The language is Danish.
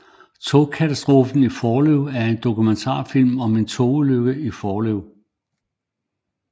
Togkatastrofen i Forlev er en dokumentarfilm om en togulykke i Forlev